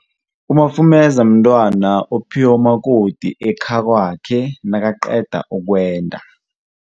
Umafumeza mntwana ophiwa umakoti ekhakwakhe nakaqeda ukwenda.